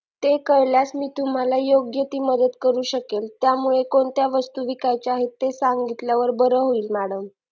ते कळल्यास मी तुम्हाला योग्य ती मदत करू शकेल त्यामुळे कोणत्या वस्तू विकायचे आहे ते सांगितल्यावर बरे होईल madam